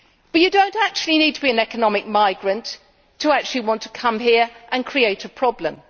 You do not have to be an economic migrant to actually want to come here and create a problem.